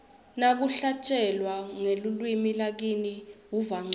nakuhlatjelwa ngelulwimi lakini uva ncono